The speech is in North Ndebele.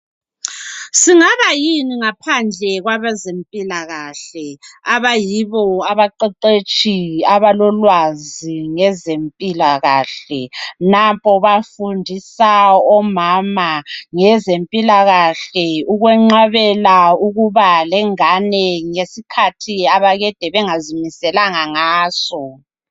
Singaba yini ngaphandle kwabezempilakahle abayibo abaqeqetshi abalolwazi ngezempilakahle ukwenqabela ukuba lengane ngesikhathi akade bengazimiselanga ngaso.